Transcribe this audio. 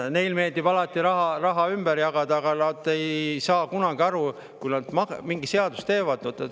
Neile meeldib alati raha ümber jagada, aga nad ei saa kunagi aru, et kui nad mingi seaduse teevad …